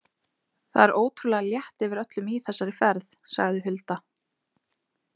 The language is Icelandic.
Það er ótrúlega létt yfir öllum í þessari ferð, sagði Hulda.